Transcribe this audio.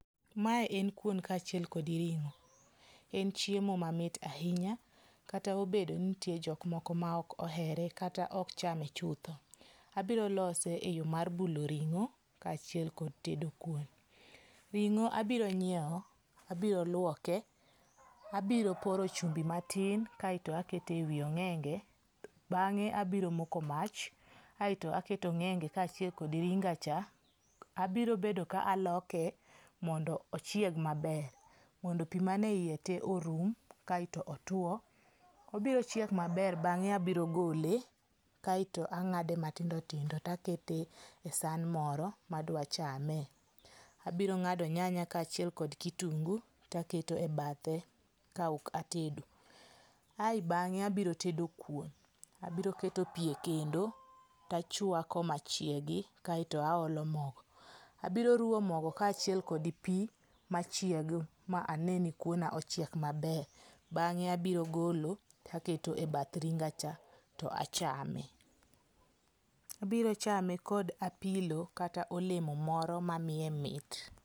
Ma en kuon kaacbhiel kod ring'o. En chiemo mamit ahinya kata obedo ni nitie jok moko maok ohere kata ok chame chutho. Abiro lose eyo mar bulo ring'o kaachiel kod tedo kuon. Ring'o abiro ng'iewo, abiro luoke, abiro poro chumbi matin, kaeto aketo ewi ong'enge. Bang'e abiro moko m,ach kaachiel kod ringa cha. Abiro bedo ka aloke mondo ochieg maber mondo pi man eiye te orum kaeto otuo. Obiro chiek maber bang'e abiro gole kaeto ang'ade matindo tindo takete e san moro madwa chame. Abiro ng'ado nyanya kaachiel kod kitungu to aketo e bathe kaok atedo. Ae bang'e abiro tedo kuon. Abiro keto pi ekendo tachwako machiegi to aolo mogo. Abiro ruwo mogo kaachiel kod pi machiegi ma ane nikuona ochiek maber. Bang'e abiro golo to aketo ebath ringa cha. to achame. Abiro chame gapilo kata kod oleno moro mamiye mit.